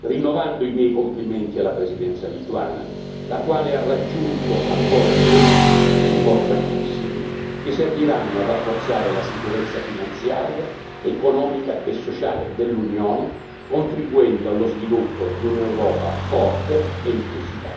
rinnovando i miei complimenti alla Presidenza lituana, la quale ha raggiunto accordi politici importantissimi che serviranno a rafforzare la sicurezza finanziaria, economica e sociale dell'Unione, contribuendo allo sviluppo di un'Europa forte e inclusiva.